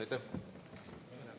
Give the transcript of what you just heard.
Aitäh!